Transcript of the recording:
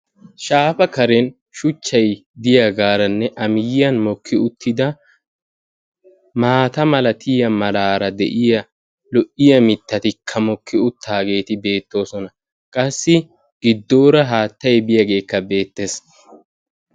shaafa karen shuchchay diyagaaranne a miyiyan mokki uttida maata malatiaya malaara de'iya lo'iya mittattikka mokki uttaageeti beettoosona. qassi giddoora haattay biyageekka beettes.